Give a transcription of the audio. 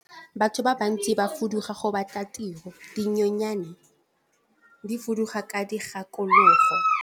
Batho ba bantsi ba fuduga go batla tiro, dinonyane di fuduga ka dikgakologo.